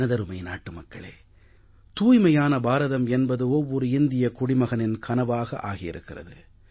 எனதருமை நாட்டு மக்களே தூய்மையான பாரதம் என்பது ஒவ்வொரு இந்திய குடிமகனின் கனவாக ஆகி இருக்கிறது